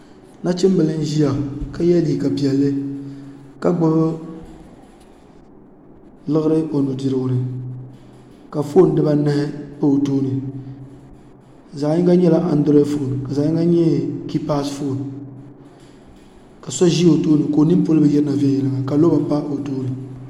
nachinbili n ʒiya ka yɛ liiga piɛlli ka gbubi liɣiri o nudirigu ni ka fooni dibanahi pa o tooni zaɣ yini nyɛla andirod foon ka zaɣ yini nyɛ kiipas foon ka so ʒi o tooni ka o nini polo bi yirina viɛnyɛla ka loba pa o tooni